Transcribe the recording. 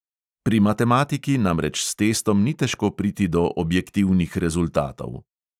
Pri matematiki namreč s testom ni težko priti do objektivnih rezultatov.